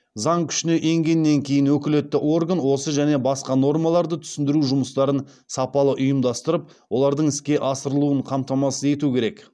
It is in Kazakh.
заң күшіне енгеннен кейін өкілетті орган осы және басқа нормаларды түсіндіру жұмыстарын сапалы ұйымдастырып олардың іске асырылуын қамтамасыз ету керек